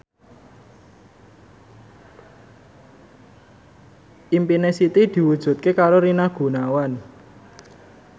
impine Siti diwujudke karo Rina Gunawan